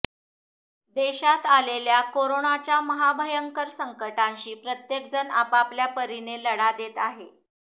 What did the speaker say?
देशात आलेल्या कोरोनाच्या महाभयंकर संकटाशी प्रत्येकजण आपआपल्या परिने लढा देत आहे